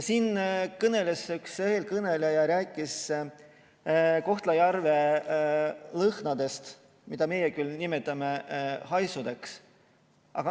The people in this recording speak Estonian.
Üks eelkõneleja rääkis Kohtla-Järve lõhnadest, mida meie küll nimetame haisudeks.